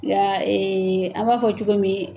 Nka an m'a fɔ cogo min